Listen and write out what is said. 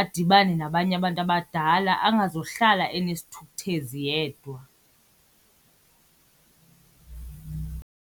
adibane nabanye abantu abadala, angazuhlala enesithukuthezi yedwa.